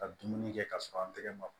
Ka dumuni kɛ ka sɔrɔ an tɛgɛ ma